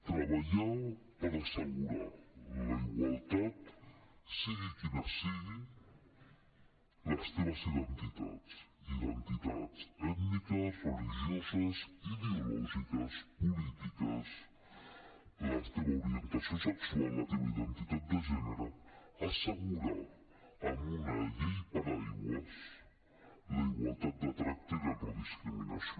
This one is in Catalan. treballar per assegurar la igualtat siguin quines siguin les teves identitats identitats ètniques religioses ideològiques polítiques la teva orientació sexual la teva identitat de gènere assegurar amb una llei paraigua la igualtat de tracte i la no discriminació